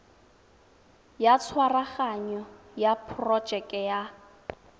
ya tshwaraganyo ya porojeke ya